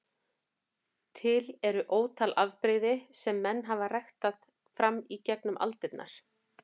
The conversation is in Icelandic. Til eru ótal afbrigði sem menn hafa ræktað fram í gegnum aldirnar.